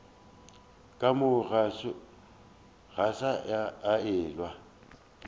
ka moo go sa elwego